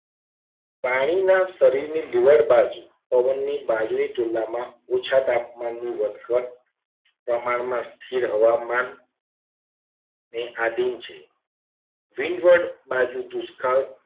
પાણીના શરીરના લેવડ બાજુ પવનની બાજુએ તુલનામાં ઓછા તાપમાનની વધઘટ પ્રમાણમાં સ્થિર હવામા ની આધીન છે. લીવડ બાજુ દુષ્કાળ